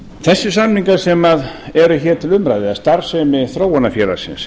þessir samningar sem eru hér til umræðu um starfsemi þróunarfélagsins